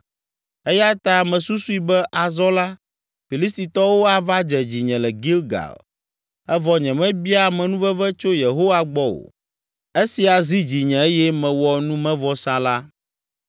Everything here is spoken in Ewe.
Eya ta mesusui be azɔ la, Filistitɔwo ava dze dzinye le Gilgal evɔ nyemebia amenuveve tso Yehowa gbɔ o! Esia zi dzinye eye mewɔ numevɔsa la.”